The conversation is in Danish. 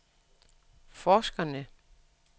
forskerne